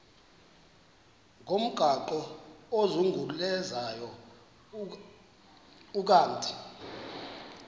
ngomgaqo ozungulezayo ukanti